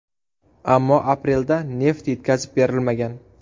Ammo aprelda neft yetkazib berilmagan.